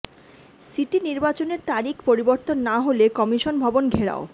city নির্বাচনের তারিখ পরিবর্তন না হলে কমিশন ভবন ঘেরাও